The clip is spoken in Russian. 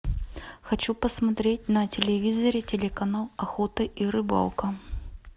хочу посмотреть на телевизоре телеканал охота и рыбалка